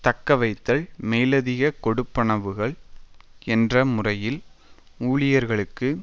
தக்கவைத்தல் மேலதிககொடுப்பனவுகள் என்ற முறையில் ஊழியர்களுக்கு